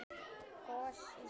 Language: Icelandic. Gos í sjó